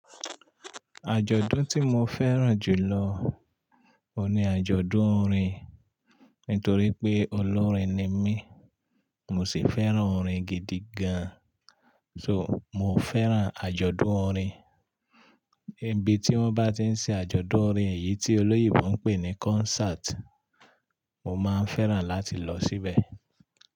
Àjọ̀dún tí mo fẹ́ràn jù lọ ni àjọ̀dún orin, nítorí pé olórin ni mí, mo sì fẹ́ràn orin gidi gan. So, mo fẹ́ràn àjọ̀dún orin, ibi tí wọ́n bá tí ń ṣe àjọ̀dún orin èyí tí olóyìnbó ń pè ní concert, mo máa ń fẹ́ràn láti lọ síbẹ̀.